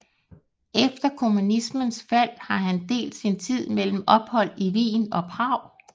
Efter kommunismens fald har han delt sin tid mellem ophold i Wien og Prag